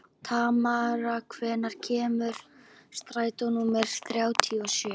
Tamara, hvenær kemur strætó númer þrjátíu og sjö?